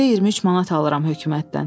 Ayda 23 manat alıram hökumətdən.